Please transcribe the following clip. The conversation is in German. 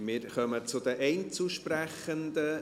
Wir kommen zu den Einzelsprechenden.